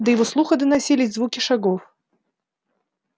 до его слуха доносились звуки шагов